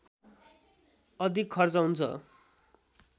अधिक खर्च हुन्छ